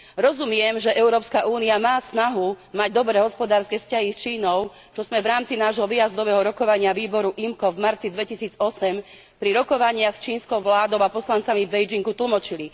Rozumiem, že Európska únia má snahu mať dobré hospodárske vzťahy s Čínou, čo sme v rámci nášho výjazdového rokovania výboru IMCO v marci 2008 pri rokovaniach s čínskou vládou a poslancami v Pekingu tlmočili.